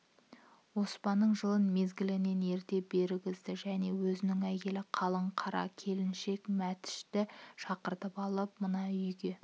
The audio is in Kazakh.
оспанның жылын мезгілінен ерте бергізді және өзінің әйелі қалың қара келіншек мәтішті шақыртып алып мынау үйге